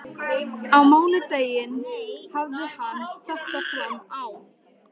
Á mánudaginn hafði hann þetta fram á.